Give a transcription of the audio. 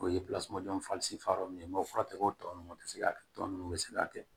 O ye ye mɔgɔ fura tɛ k'o tɔ ninnu tɛ se ka kɛ tɔ ninnu bɛ se ka kɛ